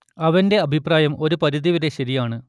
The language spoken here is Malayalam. അവന്റെ അഭിപ്രായം ഒരു പരിധി വരെ ശരിയാണ്